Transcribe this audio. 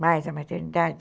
Mais a maternidade?